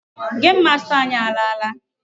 Game master anyị alaala.